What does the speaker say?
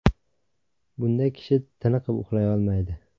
Bunda kishi tiniqib uxlay olmaydi.